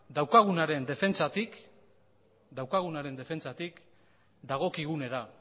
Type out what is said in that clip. daukagunaren defentsatik dagokigunera